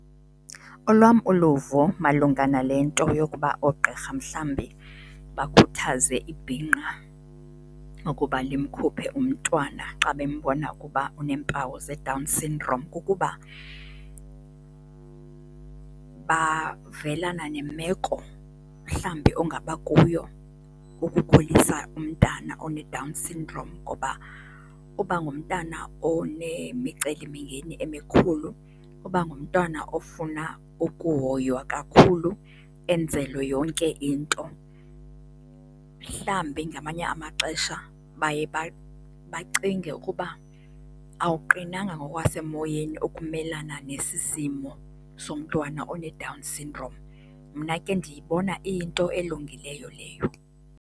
Olwam uluvo malunga nale nto yokuba oogqirha mhlawumbi bakhuthaze ibhinqa ukuba limkhuphe umntwana xa bembona kuba uneempawu zeDown Sydrome kukuba, bavelana nemeko mhlawumbi ongabakuyo ukukhulisa umntana oneDown Sydrome ngoba uba ngumntana onemicelimngeni emikhulu, uba ngumntwana ofuna ukuhoywa kakhulu enzelwe yonke into, mhlawumbi ngamanye amaxesha baye bacinge ukuba awuqinanga ngokwasemoyeni ukumelana nesi simo somntwana oneDown syndrome. Mna ke ndiyibona iyinto elungileyo leyo.